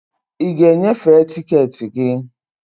I ga e nyefee tiketi gị.